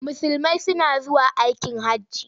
Musulmai suna zuwa aikin hajji.